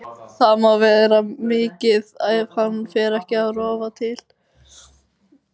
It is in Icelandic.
Það má mikið vera ef hann fer ekki að rofa til.